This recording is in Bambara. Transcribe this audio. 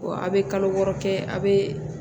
Wa a' bɛ kalo wɔɔrɔ kɛ a bɛ